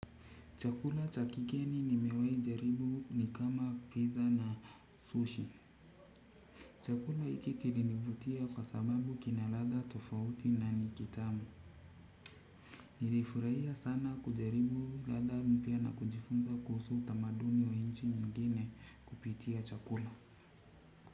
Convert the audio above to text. Chakula cha kigeni nimewei jaribu ni kama pizza na sushi. Chakula hiki kililinivutia kwa sababu kina ladha tofauti na nikitamu. Nilifurahia sana kujaribu ladha mpya na kujifunza kuhusu tamaduni wa nchi nyingine kupitia chakula.